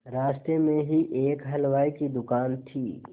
रास्ते में ही एक हलवाई की दुकान थी